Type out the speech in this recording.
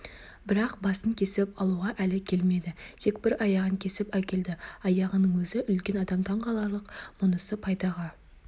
бірақ басын кесіп алуға әлі келмеді тек бір аяғын кесіп әкелді аяғының өзі үлкен адам таңғаларлық мұнысы пайдаға